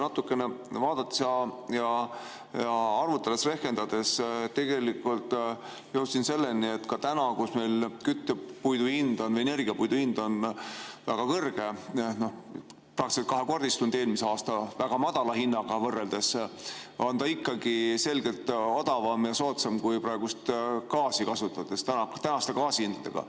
Natukene arvutades-rehkendades jõudsin ma selleni, et ka praegu, kus meil küttepuidu hind, energiapuidu hind on väga kõrge, praktiliselt kahekordistunud eelmise aasta väga madala hinnaga võrreldes, on ta ikkagi selgelt odavam ja soodsam kui gaas tänaste hindadega.